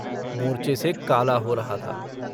मोरचे से काला हो रहा था।